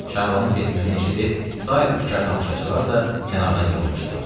Şabanın getməyini eşidib sair bikar tamaşaçılar da kənardan yığılmışdılar.